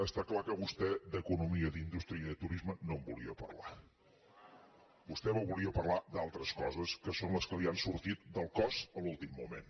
està clar que vostè d’economia d’indústria i de turisme no en volia parlar vostè volia parlar d’altres coses que són les que li han sortit del cos a l’últim moment